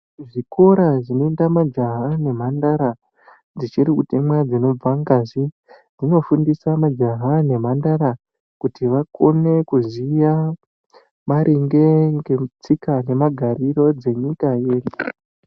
Zvikora zvinoenda majaha nemhandara dzichiri kutemwa dzinobva ngazi hunofundusa majaha nemhandara kuti vakone kuziya maringe netsika nemagariro dzenyika yedu.